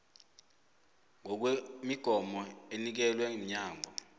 ngokwemigomo enikelwe mnyango